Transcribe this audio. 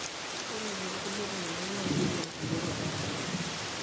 Ore tokulie tungana na kinyial kulie rubat.